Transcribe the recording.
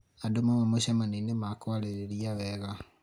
andũ mauma mũcemanio-inĩ makwaarĩrĩria wega